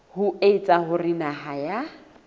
ho etsa hore naha ya